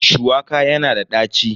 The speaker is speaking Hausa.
Shuwaka yana da ɗaci.